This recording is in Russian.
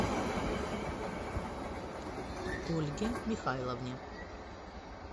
ольге михайловне